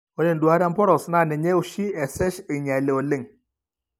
Ore enduata emporos naa ninye oshi esesh einyiali oleng.